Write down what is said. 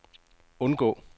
undgå